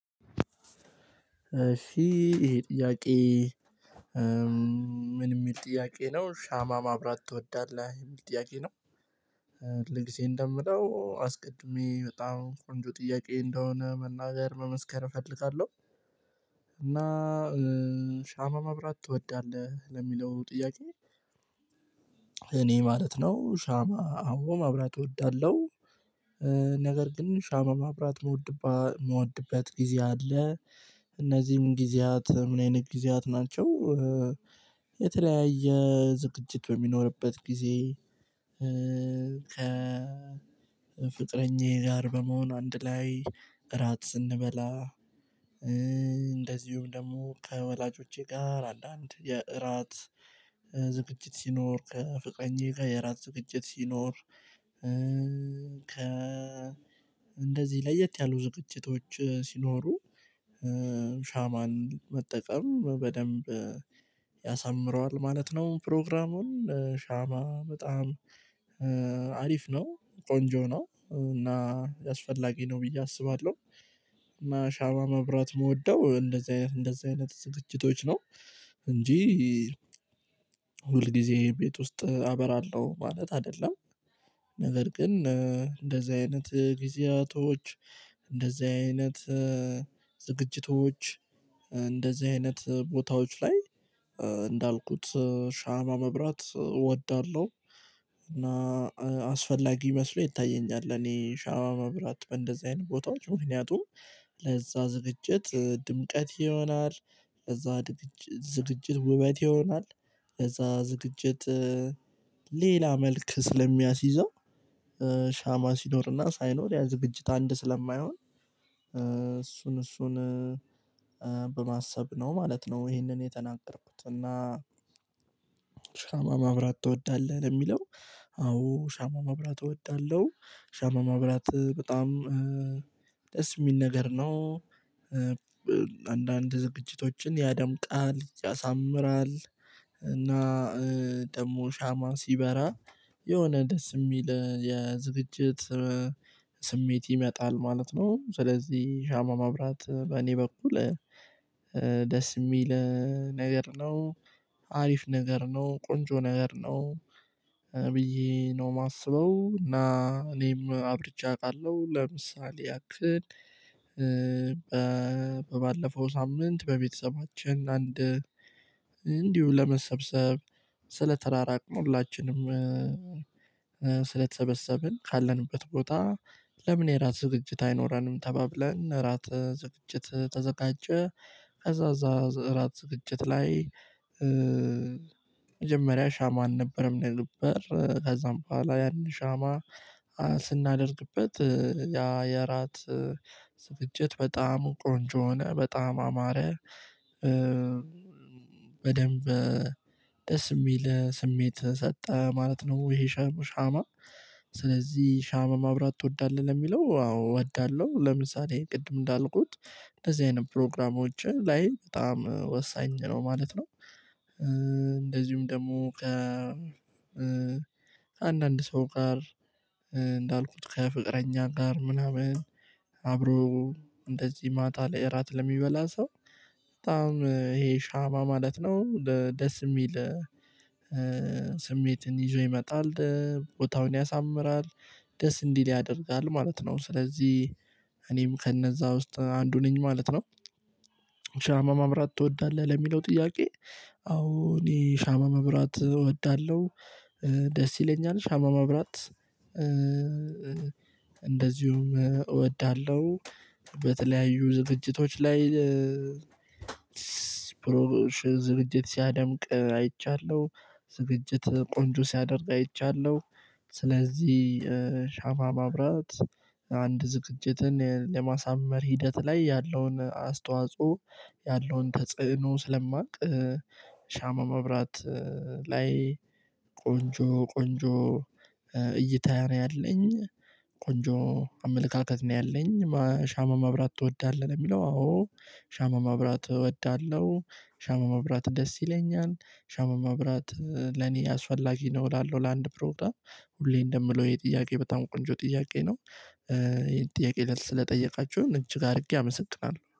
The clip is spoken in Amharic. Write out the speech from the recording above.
እሺ ይሄ ጥያቄ ምን የሚል ጥያቄ ነው ሻማ ማብራት ትወዳለህ የሚል ጥያቄ ነው። ሁልጊዜ እንደምለው አስቀድሜ በጣም ቆንጆ ጥያቄ እንደሆነ መናገር መመስከር እፈልጋለሁ። እና ሻማ ማብራት ትወዳለህ? ለሚለው ጥያቄ እኔ ማለት ነው ሻማ አዎ ማብራት እወዳለሁ። ነገር ግን ሻማ ማብራት የምወድበት ጊዜ አለ። እነዚህም ጊዜያት ምን አይነት ጊዜያት ናቸው? የተለያየ ዝግጅት በሚኖርበት ጊዜ ከ ፍቅረኛዬ ጋር በመሆኑ አንድ ላይ እራት ስንበላ እንደዚሁም ደግሞ ከወላጆቼ ጋር አንዳንድ አንድ የእራት ዝግጅት ሲኖር ከፍቅረኛየ ጋር የእራት ዝግጅት ሲኖር ከ እንደዚህ ለየት ያሉ ዝግጅቶች ሲኖሩ ሻማን መጠቀም በደንብ ያሳምረዋል ማለት ነው ፕሮግራሙን። ሻማ በጣም አሪፍ ነው ቆንጆ ነው። እና አስፈላጊ ነው ብዬ አስባለሁ። እና ሻማ መብራት የምወደው እንደዚህ አይነት እንደዚህ አይነት ዝግጅቶች ነው። እንጂ ሁል ጊዜ ቤት ውስጥ አበራለሁ ማለት አይደለም። ነገር ግን እንደዚህ አይነት ጊዜያቶች እንደዚህ አይነት ዝግጅቶች እንደዚህ አይነት ቦታዎች ላይ እንዳልኩት ሻማ መብራት እወዳለሁ። እና አስፈላጊ መስሎ ይታየኛል እኔ ሻማ መብራት እንደዚህ አይነት ቦታዎች ምክንያቱም ለዛ ዝግጅት ድምቀት ይሆናል። ለዛ ዝግጅት ውበት ይሆናል። ከዛ ዝግጅት ሌላ መልክ ስለሚያስይዘው ሻማ ሲኖርና ሳይኖር ያ ዝግጅት አንድ ስለማይሆን እሱን እሱን በማሰብ ነው ማለት ነው ይሄንን የተናገርኩት። እና ሻማ ማብራት ትወዳለህ ለሚለው አዎ ሻማ ማብራት እወዳለሁ። ሻማ ማብራት በጣም ደስ የሚል ነገር ነው። አንዳንድ ዝግጅቶችን ያደምቃል፤ ያሳምራል። እና ደግሞ ሻማ ሲበራ የሆነ ደስ የሚል የዝግጅት ስሜት ይመጣል ማለት ነው። ስለዚህ ሻማ ማብራት በእኔ በኩል ደስ የሚል ነገር ነው። አሪፍ ነገር ነው፤ ቆንጆ ነገር ነው ብየ ነው የማስበው። እና እኔም አብርቸ አውቃለሁ። ለምሳሌ ያክል ባለፈው ሳምንት በቤተሰባችን አንድ እንዲሁ ለመሰብሰብ ስለ ተራራቅን ሁላችንም ስለተሰበሰብን ካለንበት ቦታ ለምን የራት ዝግጅት አይኖረንም ተባብለን ራት ዝግጅት ተዘጋጀ። ከዛ እዛ ራት ዝግጅት ላይ መጀመሪያ ሻማን አልነበረም የነበር ከዛም በኋላ ያንን ሻማ ስናደርግበት ያ የራት ዝግጅት በጣም ቆንጆ ሆነ፤ በጣም አማረ። በደንብ ደስ የሚል ስሜት ሰጠ ማለት ነው። ይሄ ሻማ ሻማ ስለዚህ ሻማ ማብራት ትወዳለህ ለሚለው አዎ እወዳለሁ። ለምሳሌ ቅድም እንዳልኩት እንደዚህ አይነት ፕሮግራሞች ላይ በጣም ወሳኝ ነው ማለት ነው። እንደዚሁም ደግሞ ከ አንዳንድ ሰው ጋር እንዳልኩት ከፍቅረኛ ጋር ምናምን አብሮ እንደዚህ ማታ ላይ እራት ለሚበላ ሰው በጣም ይሄ ሻማ ማለት ነው ደስ የሚል ስሜትን ይዞ ይመጣል። ቦታውን ያሳምራል፤ ደስ እንዲል ያደርጋል ማለት ነው። ስለዚህ እኔም ከነዛ ውስጥ አንዱ ነኝ ማለት ነው። ማብራት ትወዳለህ? ለሚለው ጥያቄ አዎ እኔ ሻማ ማብራት እወዳለሁ። ደስ ይለኛል። ሻማ ማብራት እንደዚሁ እወዳለሁ። በተለያዩ ዝርጅቶች ላይ ዝርጅት ሲያደምቅ አይቻለሁ። ዝግጅት ቆንጆ ሲያደርግ አይቻለሁ። ስለዚህ ሻማ ማብራት አንድ ዝግጅትን ለማሳመር ሂደት ላይ ያለውን አስተዋጽኦ ያለውን ተጽዕኖ ስለማውቅ ሻማ መብራት ላይ ቆንጆ ቆንጆ እይታ ነው ያለኝ። ቆንጆ አመለካከት ነው ያለኝ። ሻማ ማብራት ትወዳለህ? የሚለው አዎ ሻማ ማብራት እወዳለሁ። ሻማ ማብራት ደስ ይለኛል። ሻማ ማብራት ለኔ አስፈላጊ ነው እላለሁ ለአንድ ፕሮውጣም። ሁሌ እንደምለው የጥያቄ በጣም ቆንጆ ጥያቄ ነው። ይሄን ጥያቄ ስለጠየቃችሁን እጅግ አድርጌ አመሰግናለሁ።